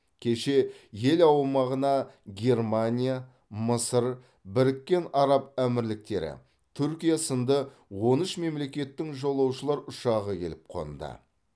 кеше ел аумағына германия мысыр біріккен араб әмірліктері түркия сынды он үш мемлекеттің жолаушылар ұшағы келіп қонды